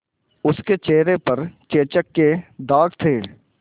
उसके चेहरे पर चेचक के दाग थे